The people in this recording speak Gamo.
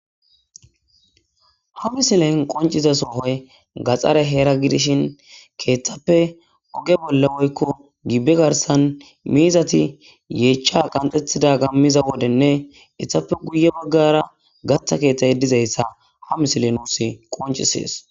Ha missilen qoncciza sohoy gaxxare heera giddishi keththappe ogge bolla woykko gibbe garssan miizati yechcha qanxxetidaga miiza wodenne keththappe guye baggara gatta keththay dizayssa ha missiley nusi qonccises.